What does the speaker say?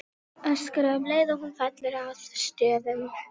Öskra um leið og hún fellur að stöfum.